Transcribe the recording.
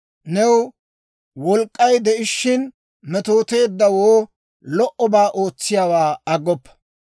New wolk'k'ay de'ishiina, metooteeddawoo lo"obaa ootsiyaawaa aggoppa.